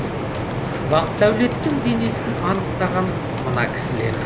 бақдәулеттің денесін анықтаған мына кісілер